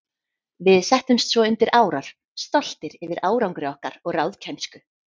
Við settumst svo undir árar, stoltir yfir árangri okkar og ráðkænsku.